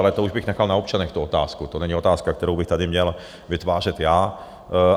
Ale to už bych nechal na občanech tu otázku, to není otázka, kterou bych tady měl vytvářet já.